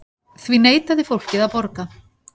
Því neitaði fólkið að borga.